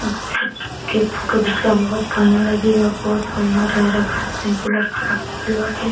Bullet के photo घिचले bullet खड़ा कइले बाटे।